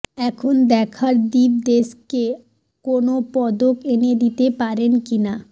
এখন দেখার দীপ দেশকে কোনও পদক এনে দিতে পারেন কি না